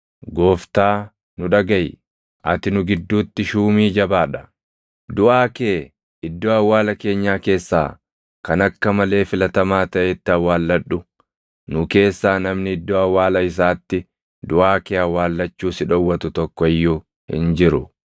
“Gooftaa, nu dhagaʼi. Ati nu gidduutti shuumii jabaa dha. Duʼaa kee iddoo awwaala keenyaa keessaa kan akka malee filatamaa taʼetti awwaalladhu. Nu keessaa namni iddoo awwaala isaatti duʼaa kee awwaallachuu si dhowwatu tokko iyyuu hin jiru.”